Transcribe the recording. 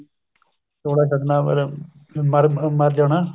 ਚੋਲਾ ਛੱਡਣਾ ਮਤਲਬ ਮਰ ਮਰ ਜਾਣਾ